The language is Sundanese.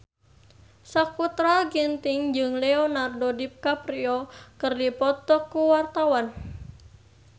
Sakutra Ginting jeung Leonardo DiCaprio keur dipoto ku wartawan